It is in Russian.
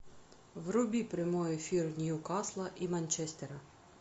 вруби прямой эфир ньюкасла и манчестера